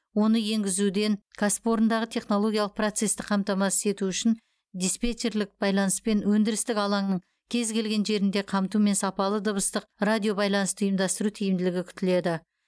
оны енгізуден кәсіпорындағы технологиялық процесті қамтамасыз ету үшін диспетчерлік байланыспен өндірістік алаңның кез келген жерінде қамтумен сапалы дыбыстық радиобайланысты ұйымдастыру тиімділігі күтіледі